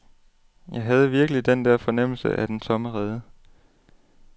Jeg havde virkelig den der fornemmelse af den tomme rede.